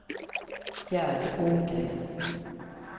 Gerd Ågren